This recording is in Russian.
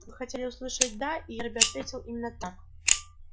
вы хотели услышать да и эрби ответил именно так